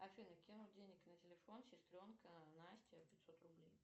афина кинуть денег на телефон сестренка настя пятьсот рублей